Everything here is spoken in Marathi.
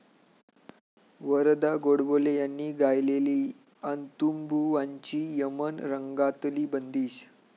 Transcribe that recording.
वरदा गोडबोले यांनी गायलेली अंतुबुवांची यमन रंगातली बंदिश